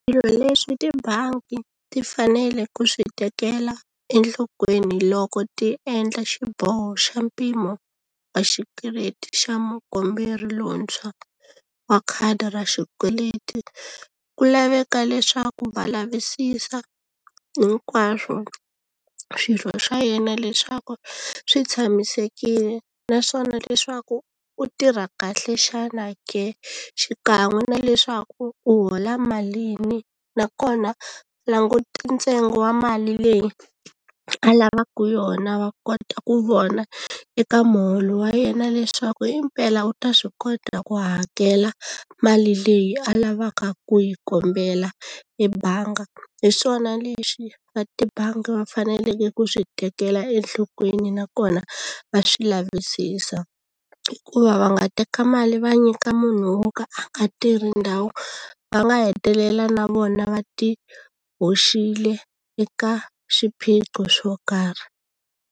Swilo leswi tibangi ti fanele ku swi tekela enhlokweni loko ti endla xiboho xa mpimo wa xikweleti xa mukomberi lontshwa wa khadi ra xikweleti ku laveka leswaku va lavisisa hinkwaswo swirho swa yena leswaku swi tshamisekile naswona leswaku u tirha kahle xana ke xikan'we na leswaku u hola mali ni nakona langute ntsengo wa mali leyi a lavaka yona va kota ku vona eka muholo wa yena leswaku impela wu ta swi kota ku hakela mali leyi a lavaka ku yi kombela ebangi hi swona lexi va tibangi va faneleke ku swi tekela enhlokweni nakona va swi lavisisa hikuva va nga teka mali va nyika munhu wo ka a nga tirhi ndhawu va nga hetelela na vona va ti hoxile eka swiphiqo swo karhi.